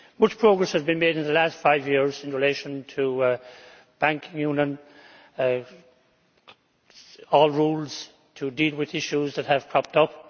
Much progress has been made in the last five years in relation to a banking union and rules to deal with issues that have cropped up.